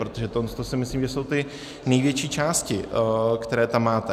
Protože tohle si myslím, že jsou ty největší části, které tam máte.